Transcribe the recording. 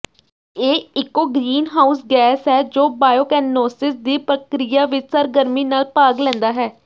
ਇਹ ਇਕੋ greenhouse gas ਹੈ ਜੋ ਬਾਇਓਕੈਨੋਸਿਸ ਦੀ ਪ੍ਰਕਿਰਿਆ ਵਿਚ ਸਰਗਰਮੀ ਨਾਲ ਭਾਗ ਲੈਂਦਾ ਹੈ